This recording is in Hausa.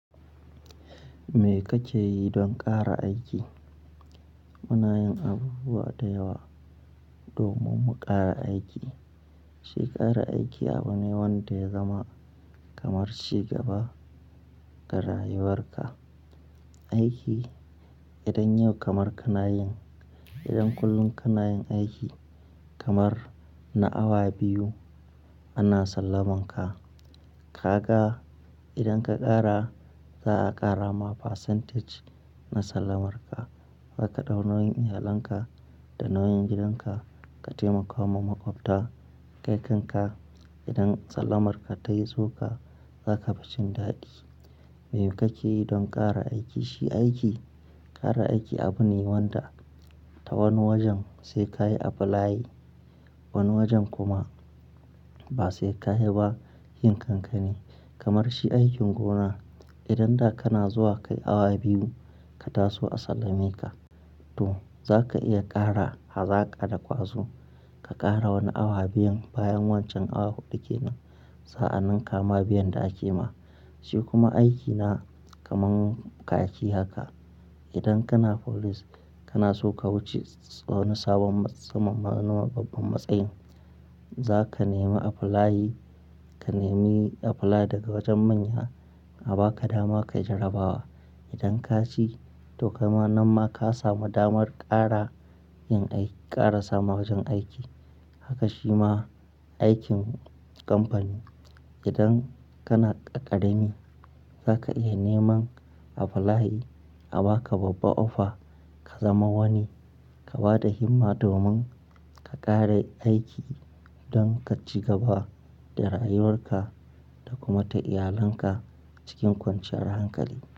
Me kake yi don ƙara aiki? Muna yin abubuwa da yawa domin mu ƙara aiki. Shi ƙara aiki abu ne wanda ya zama kamar cigaba ga rayuwar ka. Aiki idan yau kamar kana yin, idan kullum kana yin aiki kamar na awa biyu ana sallaman ka. Ka ga idan ka ƙara za'a ƙara ma percentage na sallamarka. Zaka ɗau nauyin iyalanka da nauyin gidanka ka taimaka ma maƙwabta. Kai kanka idan sallamarka tayi tsoka zaka fi cin daɗi. Me kake yi don ƙara aiki? Shi aiki ƙara aiki abu ne wanda ta wani wajen sai kayi apply, wani wajen kuma ba sai kayi ba yin kanka ne. Kamar shi aikin gona idan da kana zuwa kai awa biyu ka taso a sallame ka. To zaka iya ƙara hazaƙa da ƙwazo ka ƙara wani awa biyun bayan wancan awa huɗu ke nan. Sa'annan kama biyan da ake ma. Shi kuma aiki na kaman khaki haka. Idan kana police kana so ka wuce wani sabon tsamman ma na babban matsayi, zaka nemi apply, ka nemi apply daga wajen manya a baka dama kayi jarrabawa. Idan ka ci to kaima nan ma ka samu damar ƙara yin aiki ƙara samu wajen aiki. Haka shi ma aikin kamfani. Idan kana ƙ ƙarami zaka iya neman apply a baka babba offer ka zama wani. Ka bada himma domin ka ƙare aiki don ka ci gaba da rayuwar ka da kuma ta iyalanka cikin kwanciyar hankali.